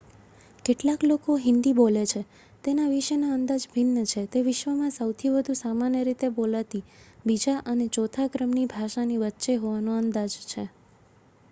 કેટલા લોકો હિન્દી બોલે છે તેના વિશેના અંદાજ ભિન્ન છે તે વિશ્વમાં સૌથી વધુ સામાન્ય રીતે બોલાતી બીજા અને ચોથા ક્રમની ભાષાની વચ્ચે હોવાનો અંદાજ છે